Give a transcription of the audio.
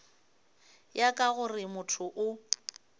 ya ka gore motho o